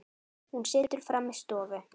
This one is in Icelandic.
Hún situr frammi í stofu.